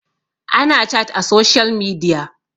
ana chat a social media